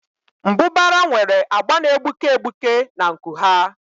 Mbụbara nwere agba na-egbuke egbuke na nku ha.